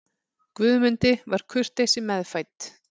Guðmundi var kurteisi meðfædd.